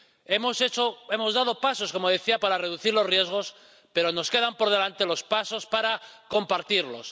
Hemos dado pasos —como decía— para reducir los riesgos, pero nos quedan por delante los pasos para compartirlos.